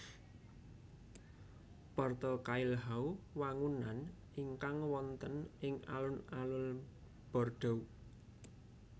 Porte Cailhau wangunan ingkang wonten ing alun alun Bordeaux